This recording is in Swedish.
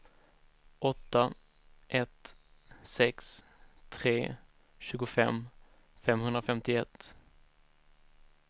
åtta ett sex tre tjugofem femhundrafemtioett